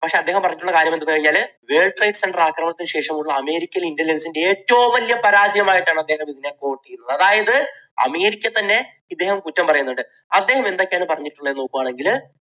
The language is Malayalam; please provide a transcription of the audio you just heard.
പക്ഷേ അദ്ദേഹം പറഞ്ഞിട്ടുള്ള കാര്യം എന്ന് പറഞ്ഞു കഴിഞ്ഞാൽ വേൾഡ് ട്രേഡ് സെൻറർ ആക്രമണത്തിന് ശേഷം ശേഷമുള്ള അമേരിക്കയിലെ intelligence ന്റെ ഏറ്റവും വലിയ പരാജയം ആയിട്ടാണ് അദ്ദേഹം ഇതിനെ കാണുന്നത്. അതായത് അമേരിക്കയെ തന്നെ ഇദ്ദേഹം കുറ്റം പറയുന്നുണ്ട്. അദ്ദേഹം എന്തൊക്കെയാണ് പറഞ്ഞിട്ടുള്ളത് എന്ന് നോക്കുകയാണെങ്കിൽ